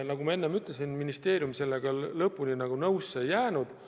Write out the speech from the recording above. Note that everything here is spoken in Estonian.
Nagu ma enne ütlesin, ministeerium sellega lõpuni nõusse ei jäänud.